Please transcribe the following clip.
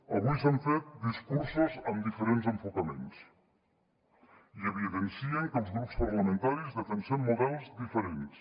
avui s’han fet discursos amb diferents enfocaments i evidencien que els grups parlamentaris defensem models diferents